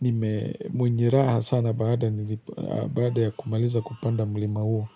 nime mwenyiraha sana baada ya kumaliza kupanda mlima huo.